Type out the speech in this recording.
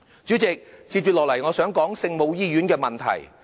主席，接下來我想說聖母醫院的問題。